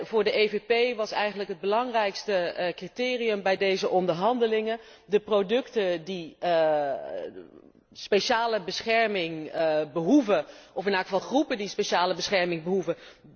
Voor de EVP was eigenlijk het belangrijkste criterium bij deze onderhandelingen de producten die speciale bescherming behoeven, of in elk geval groepen die speciale bescherming behoeven.